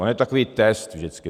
On je takový test vždycky.